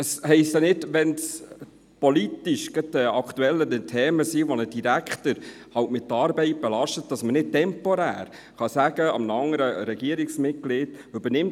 Es heisst ja nicht, dass man – wenn es politisch gerade aktuelle Themen gibt, die einen Direktor halt mit Arbeit belasten – nicht temporär einem anderen Regierungsmitglied sagen kann: